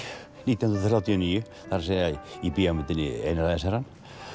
nítján hundruð þrjátíu og níu það er að í bíómyndinni einræðisherrann